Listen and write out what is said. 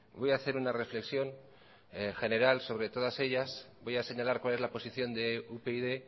voy a hacer una reflexión general sobre todas ellas voy a señalar cuál es la posición de upyd